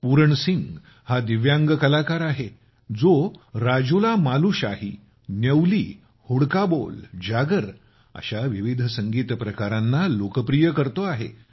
पूरण सिंग हा दिव्यांग कलाकार आहे जो राजुलामालुशाही न्यौली हुडका बोल जागर अशा विविध संगीत प्रकारांना लोकप्रिय करत आहे